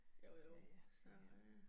Jo jo, så øh